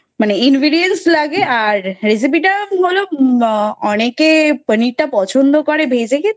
মানে ingredients লাগে আর recipe টা হলো অনেকে পানিরটা পছন্দ করে ভেজে খেতে